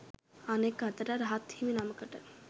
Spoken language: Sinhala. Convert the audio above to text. අනෙක් අතට රහත් හිමි නමකට